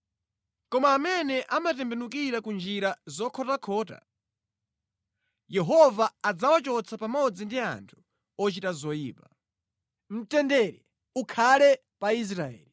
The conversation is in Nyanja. Koma amene amatembenukira ku njira zokhotakhota, Yehova adzawachotsa pamodzi ndi anthu ochita zoyipa. Mtendere ukhale pa Israeli.